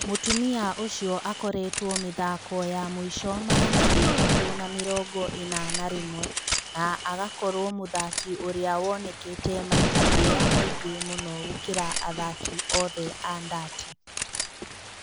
Mũtumia ũcio akoretwo mĩthako ya mũico magana matatũ ma mĩrongo-ĩna na rĩmwe na agakorwo mũthaki ũrĩa wonekete maita marĩa maingĩ mũno gũkira athaki othe a Ndati.